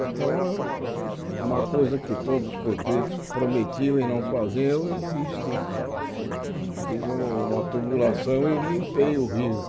Então, eu uma coisa que todos os prefeitos prometiam e não faziam, eu fiz fiz uma tubulação e limpei o rio.